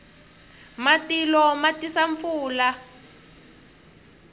matilo ma tisa pfula